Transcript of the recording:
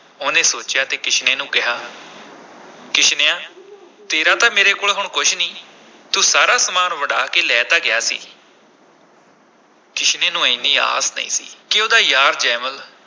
ਉਹਨੇ ਸੋਚਿਆ ਤੇ ਕਿਸ਼ਨੇ ਨੂੰ ਕਿਹਾ ਕਿਸ਼ਨਿਆ ਤੇਰਾ ਤਾਂ ਮੇਰੇ ਕੋਲ ਹੁਣ ਕੁਛ ਨੀ, ਤੂੰ ਸਾਰਾ ਸਾਮਾਨ ਵੰਡਾ ਕੇ ਲੈ ਤਾਂ ਗਿਆ ਸੀ ਕਿਸ਼ਨੇ ਨੂੰ ਐਨੀ ਆਸ ਨਹੀਂ ਸੀ ਕਿ ਉਹਦਾ ਯਾਰ ਜੈਮਲ